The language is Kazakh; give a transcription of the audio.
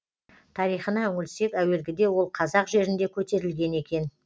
тарихына үңілсек әуелгіде ол қазақ жерінде көтерілген екен